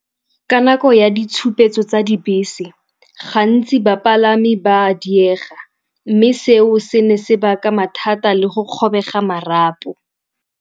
Ka nako ya ditshupetso tsa dibese gantsi bapalami ba a diega mme seo se ne se baka mathata le go kgobega marapo.